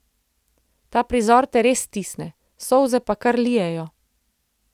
Ta prizor te res stisne, solze pa kar lijejo ...